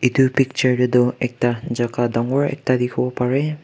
edu picture de du ekta jaga dangor ekta dikhi bo pare.